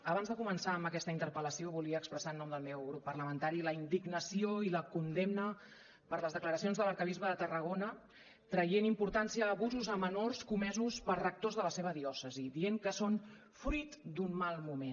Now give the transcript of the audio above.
abans de començar amb aquesta interpel·lació volia expressar en nom del meu grup parlamentari la indignació i la condemna per les declaracions de l’arquebisbe de tarragona traient importància a abusos a menors comesos per rectors de la seva diòcesi dient que són fruit d’un mal moment